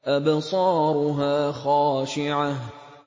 أَبْصَارُهَا خَاشِعَةٌ